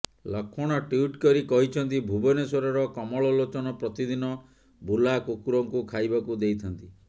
Lakshman tweet କରି କହିଛନ୍ତି ଭୁବନେଶ୍ୱରର କମଳ ଲୋଚନ ପ୍ରତିଦିନ ବୁଲା କୁକୁରଙ୍କୁ ଖାଇବାକୁ ଦେଇଥାନ୍ତି